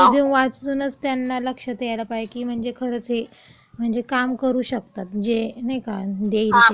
म्हणजे रिझ्यूम वाचूनच त्यांना लक्षात यायला पाहिजे की म्हणजे खरंच हे म्हणजे काम करू शकतात. जे नाही का, जे देईल ते.